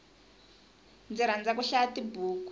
ndzi rhandza ku hlaya tibuku